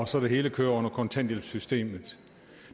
så det hele kører under kontanthjælpssystemet